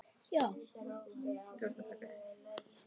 Ég þekki þig